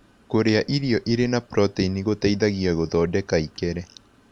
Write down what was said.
Kũrĩa irio ĩrĩ na proteĩnĩ gũteĩthagĩa gũthodeka ĩkere